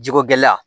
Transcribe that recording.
Jiko gɛlɛya